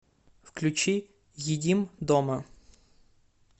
включи едим дома